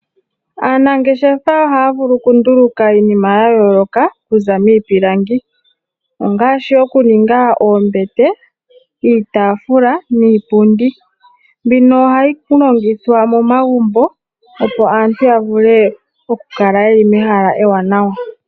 Aanangeshefa ohaya vulu oku nduluka po iinima ya yooloka okuza miipilangi ngaashi oku ninga oombete, iitaafula niipundi. Mbino oyili hayi longithwa momagumbo opo aantu yavule oku kala yeli mehala ewaanawa.